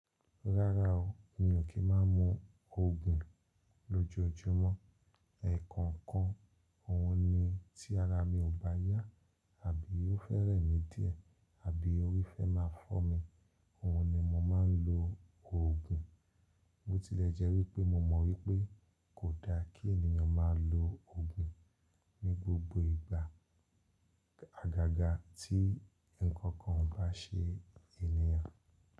Rárá o, mi ò kí má a mu òògùn lójoojúmọ́. Ẹ̀kọ̀ọ̀kan òhun ni tí ara mi ò bá yá àbí óò fẹ́ rẹ̀ mí díẹ̀ àbí orí fẹ́ má a fọ́ mi, òhun ni mo má a ń lo òògùn. Bó tilẹ̀ jẹ́ wípé mo mọ̀ wípé kò da kí ènìyàn má a lo òògùn ní gbogbo ìgbà. Àgàgà tí ǹkan kan ò bá ṣe ènìyàn.